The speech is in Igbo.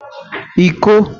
iko